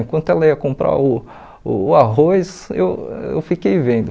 Enquanto ela ia comprar o o arroz, eu eu fiquei vendo.